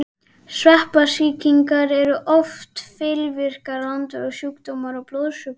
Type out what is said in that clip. Sveppasýkingar eru oft fylgikvillar langvarandi sjúkdóma og blóðsjúkdóma.